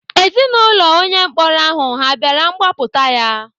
Ezinaụlọ onye mkpọrọ ahụ ha bịara gbapụta ya?